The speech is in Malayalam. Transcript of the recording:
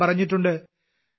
അദ്ദേഹം പറഞ്ഞിട്ടുണ്ട്